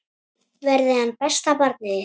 Verði hann besta barnið þitt.